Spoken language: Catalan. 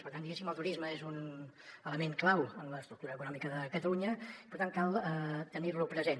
per tant diguéssim el turisme és un element clau en l’estructura econòmica de catalunya per tant cal tenir lo present